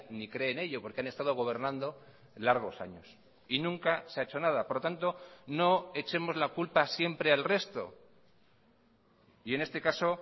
ni cree en ello porque han estado gobernando largos años y nunca se ha hecho nada por lo tanto no echemos la culpa siempre al resto y en este caso